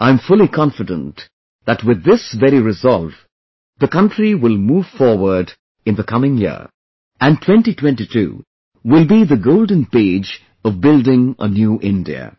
I am fully confident that with this very resolve the country will move forward in the coming year, and 2022 will be the golden page of building a new India